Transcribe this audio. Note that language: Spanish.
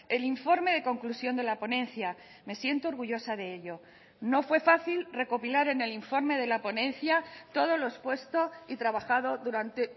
el informe de conclusión de la ponencia me siento orgullosa de ello no fue fácil recopilar en el informe de la ponencia todo lo expuesto y trabajado durante